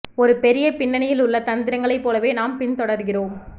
ஒரு பெரிய பின்னணியில் உள்ள தந்திரங்களைப் போலவே நாம் பின் தொடர்கிறோம்